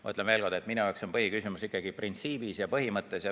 Ma ütlen veel kord, et minu jaoks on põhiküsimus ikkagi printsiibis, põhimõttes.